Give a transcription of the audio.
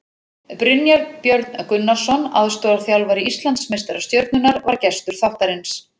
Brynjar Björn Gunnarsson, aðstoðarþjálfari Íslandsmeistara Stjörnunnar, var gestur þáttarins.